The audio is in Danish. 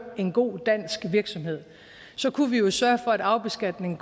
en god dansk virksomhed så kunne vi jo sørge for at arvebeskatningen